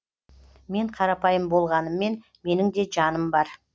мен қарапайым болғаныммен менің де жаным бар